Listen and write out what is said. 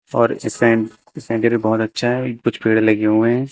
और सेंटर भी बहोत अच्छा है कुछ पेड़ लगे हुए हैं।